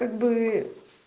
как бы